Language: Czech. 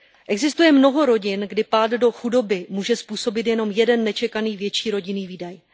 Existuje mnoho rodin, kdy pád do chudoby může způsobit jenom jeden nečekaný větší rodinný výdaj.